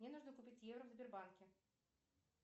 мне нужно купить евро в сбербанке